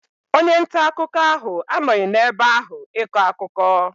Onye nta akụkọ ahụ anọghị n'ebe ahụ ịkọ akụkọ.